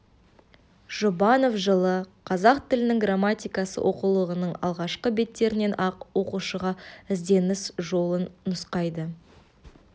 жұбанов жылы қазақ тілінің грамматикасы оқулығының алғашқы беттерінен-ақ оқушыға ізденіс жолын нұсқайды